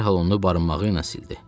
Dərhal onu barınmağı ilə sildi.